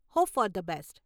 Hope for the best.